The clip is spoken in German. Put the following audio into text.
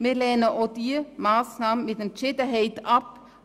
Wir lehnen auch diese Massnahme mit Entschiedenheit ab.